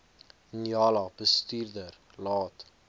njala bestuurder laat